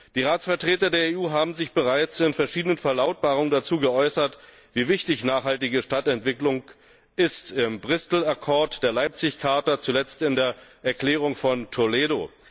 Die Ratsvertreter der EU haben sich bereits in verschiedenen Verlautbarungen dazu geäußert, wie wichtig nachhaltige Stadtentwicklung ist im Bristol Accord, der Leipzig Charta, zuletzt in der Erklärung von Toledo.